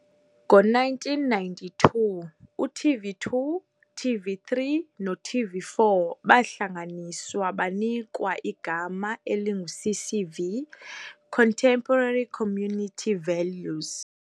Ngo 1992, u-TV2, TV3 noTV4 bahlanganiswa banikwa igama elingu CCV, Contemporary Community Values.